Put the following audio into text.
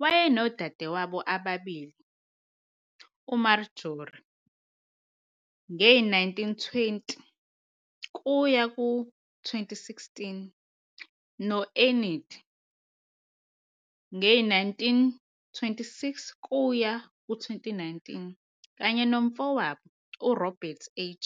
Wayenodadewabo ababili, uMarjory E., 1920-2016, no-Enid, 1926-2019, kanye nomfowabo, uRobert H.,